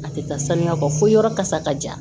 A tɛ taa saniya kɔ fo yɔrɔ kasa ka ja